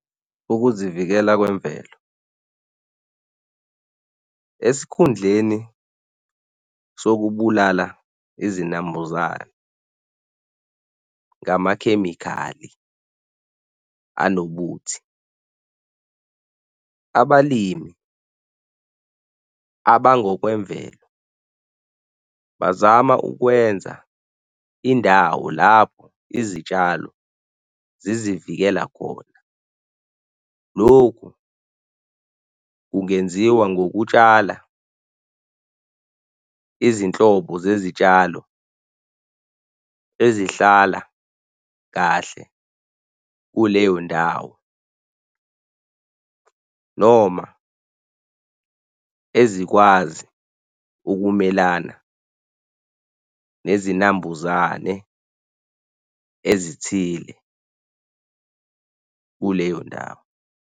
Ukuzivikela kwemvelo esikhundleni sokubulala izinambuzane ngamakhemikhali anobuthi abalimi abangokwemvelo bazama ukwenza indawo lapho izitshalo zizivikela khona. Lokhu kungenziwa ngokutshala izinhlobo zezitshalo ezihlala kahle kuleyo ndawo noma ezikwazi ukumelana nezinambuzane ezithile kuleyo ndawo.